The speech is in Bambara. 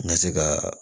N ka se ka